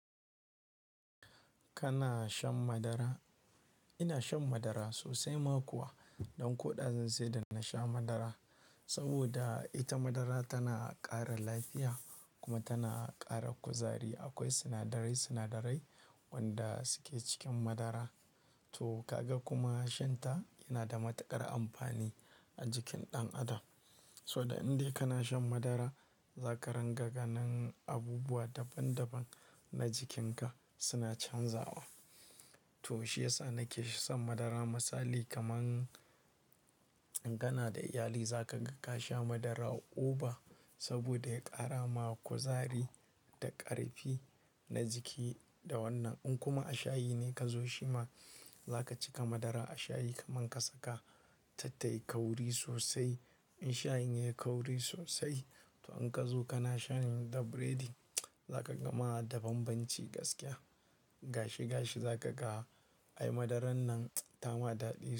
Kana shan madara? Ina shan madara sosai ma kuwa. Ɗan ko ɗazun sai da na sha madara. Saboda ita madara tana ƙara lafiya kuma tana ƙara kuzari. Akwai sinadarai, sinadarai wanda suke cikin madara. To kaga kuma shan ta yana da matuƙar amfani a jikin ɗan adam. Suda in dai kana shan madara, zaka rangwaga nan abubuwa daban daban na jikinka suna canzawa. To shiyasa nake son madara misali kaman in gana da iyali zaka ga kasha madara a over saboda ya kara ma kuzari da ƙarfi na jiki da wannan. In kuma a shayi ne ka zo shima, zaka cika madara a shayi kaman ka saka tattai kauri sosai. In shayin yayi kauri sosai to in ka zo kana sha ne da biredi, zaka gama da banbanci gaskiya. To shiyasa nake shosan madara misali kaman in gana da iyali zaka ga kasha madara a uba saboda ya kara ma kuzari da ƙarfi na jiki da wannan.